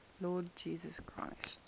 lord jesus christ